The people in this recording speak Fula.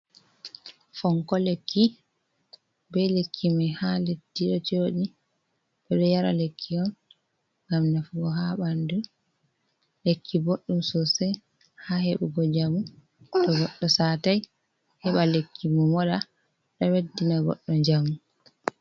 Fonko lekki be lekki mai ha leddi ɗo joɗi, ɓeɗo yara lekki on ngam nafugo ha ɓanɗu, Lekki boɗɗum sosai ha heɓugo njamu. To godɗo satai heɓa lekki mun moɗa ɗo ɓeddina goɗɗo njamu